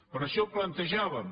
per això ho plantejàvem